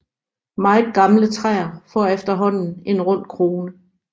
Meget gamle træer får efterhånden en rund krone